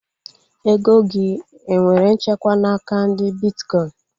Ego gị enwere nchekwa n'aka ndị bitkọin?